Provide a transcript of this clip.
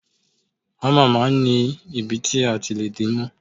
Hámà máa ń ní ibi ti a ti lé di mú.